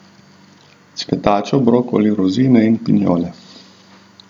Cvetačo, brokoli, rozine in pinjole.